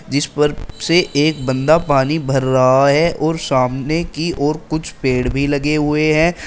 जिस पर से एक बंदा पानी भर रहा है और सामने की ओर कुछ पेड़ भी लगे हुए हैं।